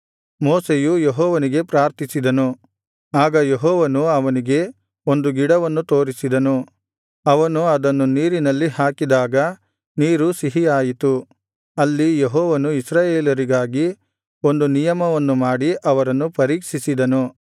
ಮೋಶೆಯು ಯೆಹೋವನಿಗೆ ಪ್ರಾರ್ಥಿಸಿದನು ಆಗ ಯೆಹೋವನು ಅವನಿಗೆ ಒಂದು ಗಿಡವನ್ನು ತೋರಿಸಿದನು ಅವನು ಅದನ್ನು ನೀರಿನಲ್ಲಿ ಹಾಕಿದಾಗ ನೀರು ಸಿಹಿಯಾಯಿತು ಅಲ್ಲಿ ಯೆಹೋವನು ಇಸ್ರಾಯೇಲರಿಗಾಗಿ ಒಂದು ನಿಯಮವನ್ನು ಮಾಡಿ ಅವರನ್ನು ಪರೀಕ್ಷಿಸಿದನು